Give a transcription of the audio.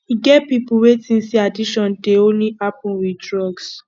e get pipo wey think say addiction dey only happen with drugs